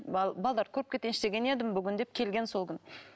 балаларды көріп кетейінші деген едім бүгін деп келген сол күні